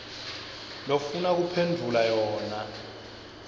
lofuna kuphendvula yona